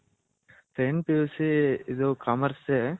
second PUC ಇದು Commerce ಸೆ.